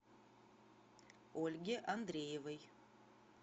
ольге андреевой